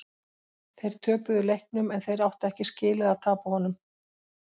Þeir töpuðu leiknum en þeir áttu ekki skilið að tapa honum.